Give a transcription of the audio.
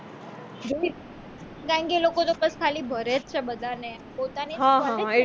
કારણ કે એ લોકો તો બસ ખાલી ભરે જ છે બધાને પોતાની હ હ એટલે